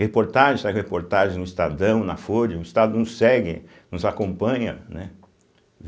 Reportagem, saiu reportagem no Estadão, na Folha, o Estado nos segue, nos acompanha, né